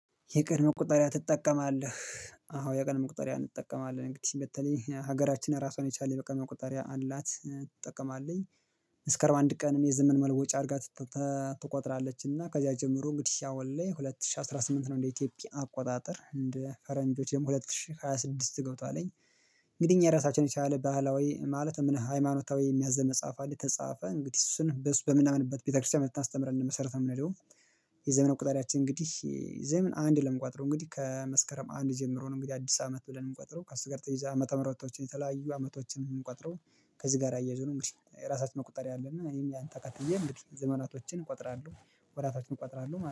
የቀን መቁጠሪያ ትጠቀማለህ? አዎ የቀን መቁጠሪያ እንጠቀማለን እንግዲህ በተለይ ሀገራችን ራሷን የቻለች የቀን መቆጠሪያ አላት ትጠቀማለች። እስከ አርባ አንድ ቀን የዘመን መለወጫ አድርጋ ትቆጥራለችና ከዚያ ጀምሮ እንግዲህ አሁን ላይ ሁለት ሺህ አስራ ስምንት ነው እንደ ኢትዮጵያ አቆጣጠር እንደ ፈረንጆች ደግሞ ሁለት ሺህ ሃያ ስድስት ገብቷል። እንግዲህ እኛ ራሳችን የቻለ ባህላዊ ማለት ሃይማኖታዊ የሚያዝዘን መጽሐፍ አለ የተጻፈ እንግዲህ እሱን በሱ በምናምንበት ቤተክርስቲያን በምታስተምርበት መሰረት ነው የምንሄደው። የዘመን መቁጠሪያችን እንግዲህ ዘመን አንድ ብለን ነው እምንቆጥረው እንግዲህ ከመስከረም አንድ ጀምሮ ነው እንግዲህ አዲስ አመት ብለን እምንቆጥረው ከሱ ጋር ተያይዞ ዓመተ ምህረቶችን የተለያዩ አመቶችን የምንቆጥረው። ከዚህ ጋር አያይዞ ነው እንግዲህ ራሳችን መቆጠሪያ አለን እኔም ያንን ተከትየ እንግዲህ ዘመናቶችን እቆጥራለሁ። ወራቶችን እቆጥራለሁ